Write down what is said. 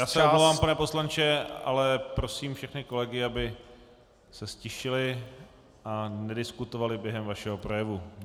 Já se omlouvám, pane poslanče, ale prosím všechny kolegy, aby se ztišili a nediskutovali během vašeho projevu.